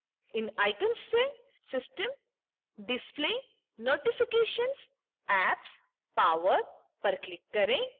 इन icons से system display notifications apps power पर click करें